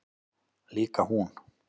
Líka hún.